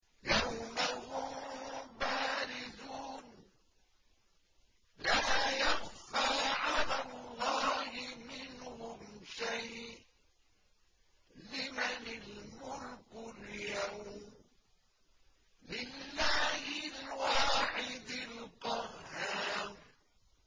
يَوْمَ هُم بَارِزُونَ ۖ لَا يَخْفَىٰ عَلَى اللَّهِ مِنْهُمْ شَيْءٌ ۚ لِّمَنِ الْمُلْكُ الْيَوْمَ ۖ لِلَّهِ الْوَاحِدِ الْقَهَّارِ